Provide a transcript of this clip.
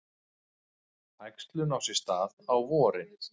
Æxlun á sér stað á vorin.